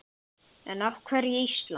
En af hverju Ísland?